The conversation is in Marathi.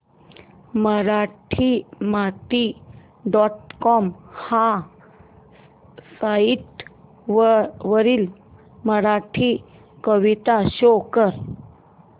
मराठीमाती डॉट कॉम ह्या साइट वरील मराठी कविता शो कर